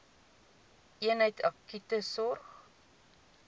eenheid akute sorg